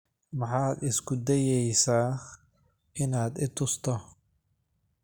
Maxaad isku dayaysaa inaad i tusto?